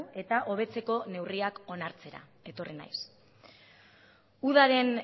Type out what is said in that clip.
eta hobetzeko neurriak onartzera etorri naiz udaren